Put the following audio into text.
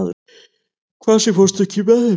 Kvasir, ekki fórstu með þeim?